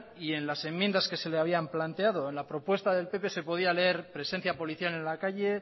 y en las enmiendas que se le habían planteado en la propuesta del pp se podía leer presencia policial en la calle